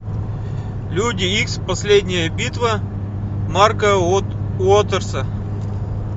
люди икс последняя битва марка уотерса